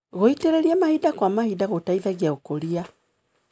Gũitĩrĩria mahinda kwa mahinda gũteithagia ũkũria.